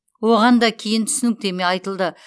оған да кейін түсініктеме айтылды